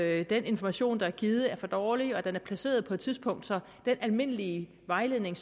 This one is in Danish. at den information der er givet er for dårlig og at den er placeret på et tidspunkt så den almindelige vejledning